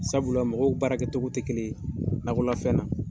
Sabula mɔgɔw baara kɛ togo tɛ kelen ɲe nakɔlafɛnw na